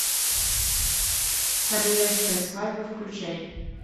королевская свадьба включай